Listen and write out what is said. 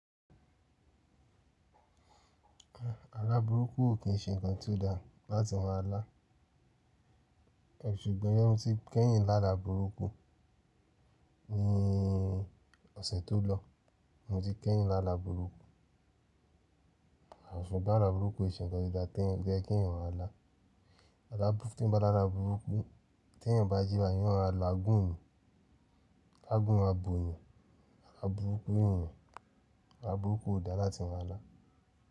Ala burúkú ò kí n ṣe ǹkan tó da láti maa lá. Ṣùgbọ́n mọ́ tí kẹ́yìn lála burúkú ní ọ̀sẹ̀ tó lọ. Mo ti kẹ́yìn lála burúkú. À ṣùgbon ala burúkú e ṣe ǹkan tó da to ye kí èeyan maa lá. Aa burúkú tí eeyan bá lála burúkú tí ẹ̀eyan bá jí bayii eeyan má ma la gún ni, tá'gún ma bò yàn. Ala burúkú ni yen. Ala burúkú ò da láti maa lá.